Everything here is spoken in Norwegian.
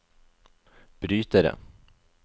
brytere